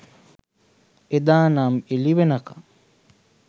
එදා නම් එලි වෙනකං